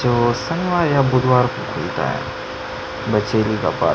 जो शनिवार या बुधवार को खुलता है बचेली का पार्क --